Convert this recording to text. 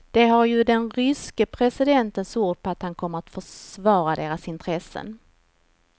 De har ju den ryske presidentens ord på att han kommer att försvara deras intressen.